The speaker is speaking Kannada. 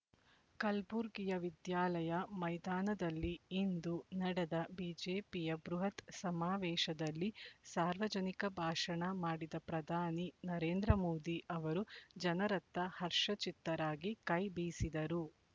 ಕಲ್ಬುರ್ಗಿಯ ವಿದ್ಯಾಲಯ ಮೈದಾನದಲ್ಲಿ ಇಂದು ನ‌ಡೆದ ಬಿಜೆಪಿಯ ಬೃಹತ್ ಸಮಾವೇಶದಲ್ಲಿ ಸಾರ್ವಜನಿಕ ಭಾಷಣ ಮಾಡಿದ ಪ್ರಧಾನಿ ನರೇಂದ್ರ ಮೋದಿ ಅವರು ಜನರತ್ತ ಹರ್ಷಚಿತ್ತರಾಗಿ ಕೈ ಬೀಸಿದರು